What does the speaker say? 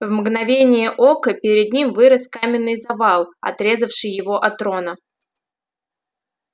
в мгновение ока перед ним вырос каменный завал отрезавший его от рона